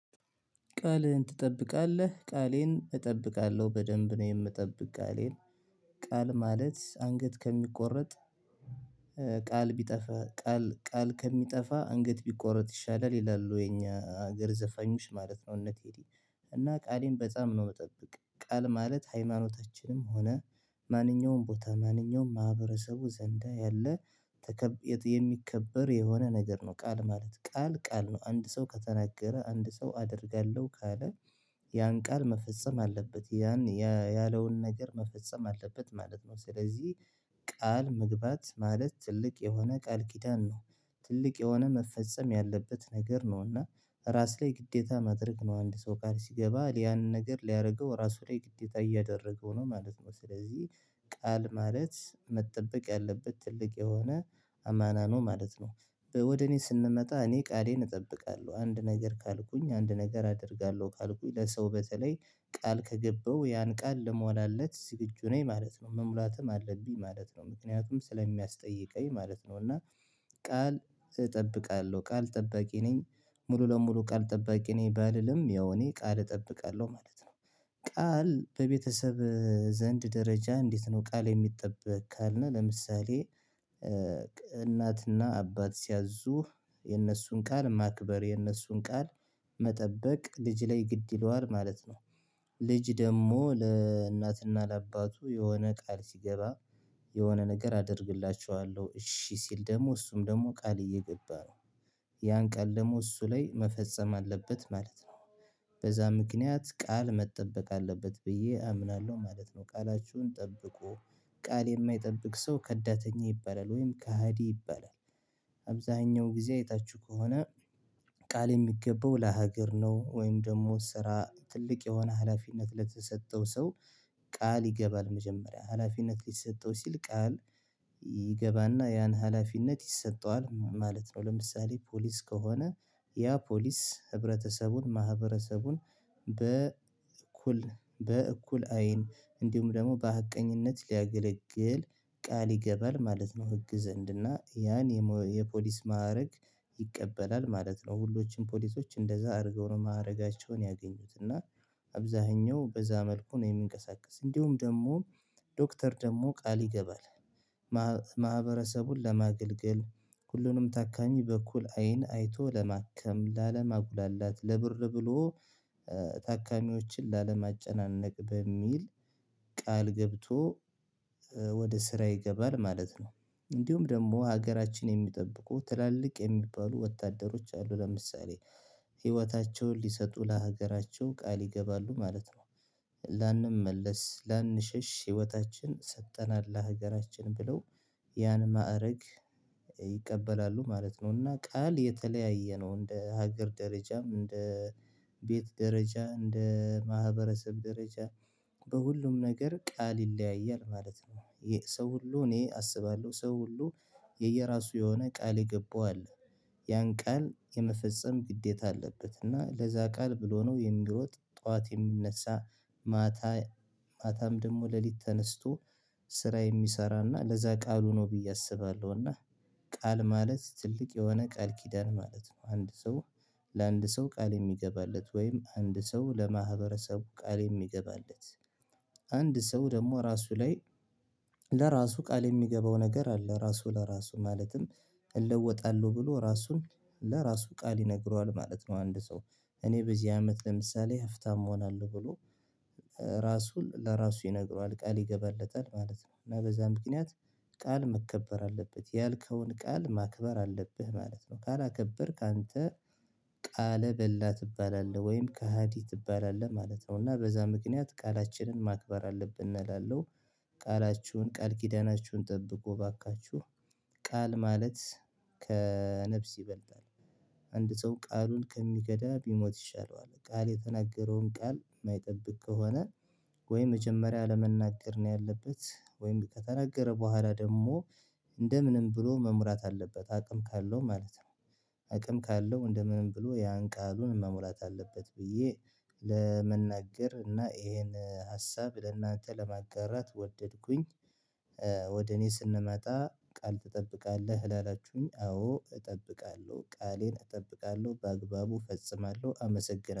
ቃልን ትጠብቃለህ? ቃሌን እጠብቃለሁ በደንብ ነው የምጠብቀው ቃሌን። ቃል ማለት አንገት ከሚቆረጥ ቃል ቢጠፋ ቃል ቃል ከሚጠፋ አንገት ቢቆረጥ ይሻላል ይላሉ የኛ ሀገር ዘፋኞች ማለት ነው። እነቴዲ እና ቃሌን በጣም ነው መጠበቅ። ቃል ማለት ሃይማኖታችንም ሆነ ማንኛውም ቦታ ማንኛውም ማህበረሰቡ ዘንዳ ያለ የሚከበር የሆነ ነገር ነው ቃል ማለት። ቃል ቃል ነው አንድ ሰው ከተናገረ አንድ ሰው አደርጋለሁ ካለ ያን ቃል መፈጸም አለበት፤ ያን ያለውን ነገር መፈጸም አለበት ማለት ነው። ስለዚህ ቃል መግባት ማለት ትልቅ የሆነ ቃል ቂዳን ነው፤ ትልቅ የሆነ መፈጸም ያለበት ነገር ነው። እና ራስ ላይ ግዴታ ማድረግ ነው አንድ ሰው ቃል ሲገባ ያንን ነገር ሊያደርገው ራሱ ላይ ግዴታ እያደረገው ነው ማለት ነው። ስለዚህ ቃል ማለት መጠበቅ ያለበት ትልቅ የሆነ አማና ነው ማለት ነው። ወደ እኔ ስንመጣ እኔ ቃሌን እጠብቃለሁ። አንድ ነገር ካልኩኝ አንድ ነገር አደርጋለሁ ካልኩኝ ለሰው በተለይ ቃል ከገባው ያን ቃል ለመሟላለት ዝግጁ ነኝ ማለት ነው። መሙላትም አለብኝ ማለት ነው ምክንያቱም ስለሚያስጠይቀኝ ማለት ነው። እና ቃል እጠብቃለሁ ቃል ጠባቂ ነኝ ሙሉ ለሙሉ ቃል ጠባቂ ነኝ ባልልም ያው እኔ ቃል እጠብቃለሁ ማለት ነው። ቃል በቤተሰብ ዘንድ ደረጃ እንዴት ነው ቃል የሚጠበቅ ካልነው፤ ለምሳሌ እናትና አባት ሲያዙ የነሱን ቃል ማክበር የነሱን ቃል መጠበቅ ልጅ ላይ ግድ ይለዋል ማለት ነው። ልጅ ደግሞ ለእናትና ለአባቱ የሆነ ቃል ሲገባ፤ የሆነ ነገር አደርግላችኋለሁ እሺ ሲል ደግሞ እሱም ደግሞ ቃል እየገባ ነው። ያን ቃል ደግሞ እሱ ላይ መፈጸም አለበት ማለት ነው፤ በዛ ምክንያት ቃል መጠበቅ አለበት ብዬ አምናለሁ ማለት ነው፤ ቃላችሁን ጠብቁ ቃል የማይጠብቅ ሰው ከዳተኛ ይባላል ወይም ከሃዲ ይባላል። አብዛኛው ጊዜ አይታችሁ ከሆነ ቃል የሚገባው ለሀገር ነው። ወይም ደግሞ ስራ ትልቅ የሆነ ሀላፊነት ለተሰጠው ሰው ቃል ይገባል መጀመሪያ፤ ሀላፊነት ሊሰጠው ሲል ቃል ይገባና ያን ሀላፊነት ይሰጠዋል ማለት ነው። ለምሳሌ ፖሊስ ከሆነ ያ ፖሊስ ህብረተሰቡን፤ ማህበረሰቡን፤ በ እኩል በእኩል አይን እንዲሁም ደግሞ በሀቀኝነት ሊያገለግል ቃል ይገባል ማለት ነው። ህግ ዘንድ እና ያን የፖሊስ ማዕረግ ይቀበላል ማለት ነው ሁሎችም ፖሊሶች እንደዛ አድርገው ነው ማዕረጋቸውን ያገኙት። እና አብዛኛው በዛ መልኩ ነው የሚንቀሳቀስ፤ እንዲሁም ደግሞ ዶክተር ደግሞ ቃል ይገባል። ማህበረሰቡን ለማገልገል፤ ሁሉንም ታካሚ በኩል አይን አይቶ ለማከም፤ ላለማጉላላት፤ ለብር ብሎ ታካሚዎችን ላለማጨናነቅ፤ በሚል ቃል ገብቶ ወደ ስራ ይገባል ማለት ነው እንዲሁም ደግሞ ሀገራችን የሚጠብቁ ትላልቅ የሚባሉ ወታደሮች አሉ፤ ለምሳሌ ህይወታቸውን ሊሰጡ ለሀገራቸው ቃል ይገባሉ ማለት ነው። ላንመለስ፤ ላንሸሽ፤ ህይወታችን ሰጠናል ለሀገራችን ብለው፤ ያን ማዕረግ ይቀበላሉ ማለት ነው እና ቃል የተለያየ ነው እንደ ሀገር ደረጃም፤ እንደ ቤት ደረጃ፤ እንደ ማህበረሰብ ደረጃ፤ በሁሉም ነገር ቃል ይለያያል ማለት ነው። ሰው ሁሉ እኔ አስባለሁ ሰው ሁሉ የየራሱ የሆነ ቃል የገባው አለ፤ ያን ቃል የመፈጸም ግዴታ አለበት፤ እና ለዛ ቃል ብሎ ነው የሚሮጥ፤ ጠዋት የሚነሳ፤ ማታ ማታም ደግሞ ሌሊት ተነስቶ ስራ የሚሰራና፤ ለዛ ቃሉ ነው ብዬ አስባለሁ። እና ቃል ማለት ትልቅ የሆነ ቃል ኪዳን ማለት ነው። አንድ ሰው ለአንድ ሰው ቃል የሚገባለት ወይም አንድ ሰው ለማህበረሰቡ ቃል የሚገባለት። ሰው ደግሞ ራሱ ላይ ለራሱ ቃል የሚገባው ነገር አለ። ራሱ ለራሱ ማለትም እለወጣለሁ ብሎ፤ ራሱን ለራሱ ቃል ይነግረዋል ማለት ነው አንድ ሰው። እኔ በዚህ አመት ለምሳሌ ሀፍታም መሆን አለው ብሎ፤ ራሱ ለራሱ ይነግረዋል ቃል ይገባለታል ማለት ነው። እና በዛ ምክንያት ቃል መከበር አለበት፤ ያልከውን ቃል ማክበር አለብህ ማለት ነው። ካላከበርክ አንተ ቃል በላ ትባላለህ ወይም ከሃዲ ትባላለህ ማለት ነው። እና በዛ ምክንያት ቃላችንን ማክበር አለብን እላለው። ቃላችሁን ቃል ኪዳናችሁን ጠብቁ እባካችሁ። ቃል ማለት ከነፍስ ይበልጣል፤ አንድ ሰው ቃሉን ከሚከዳ ቢሞት ይሻለዋል። ቃል የተናገረውን ቃል የማይጠብቅ ከሆነ ወይ መጀመሪያ አለመናገር ነው ያለበት፤ ወይም ከተናገረ በኋላ ደግሞ እንደምንም ብሎ መሙላት አለበት አቅም ካለው ማለት ነው። አቅም ካለው እንደምንም ብሎ ያን ቃሉን መሙላት አለበት ብዬ ለመናገር እና እሄን ሀሳብ ለእናንተ ለማጋራት ወደድኩኝ። ወደ እኔ ስንመጣ፤ ቃል ትጠብቃለህ ላላችሁኝ? አዎ እጠብቃለሁ፤ ቃሌን እጠብቃለሁ፤ በአግባቡ እፈጽማለሁ አመሰግናለሁ።